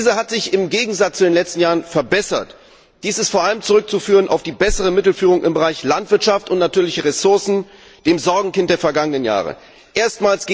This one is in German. Diese hat sich im Gegensatz zu den letzten Jahren verbessert. Dies ist vor allem auf die bessere Mittelführung im Bereich Landwirtschaft und natürliche Ressourcen, dem Sorgenkind der vergangenen Jahre, zurückzuführen.